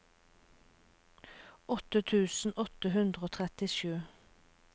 åtte tusen åtte hundre og trettisju